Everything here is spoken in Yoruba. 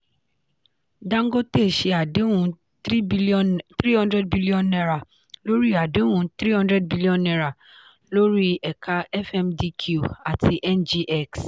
dangote ṣe àdéhùn ₦300bn lórí àdéhùn ₦300bn lórí ẹ̀ka fmdq àti ngx.